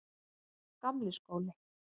Gamli skóli